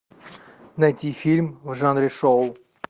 найти фильм в жанре шоу